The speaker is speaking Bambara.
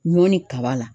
Ɲɔn ni kaba la